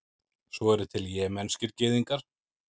svo eru til jemenskir gyðingar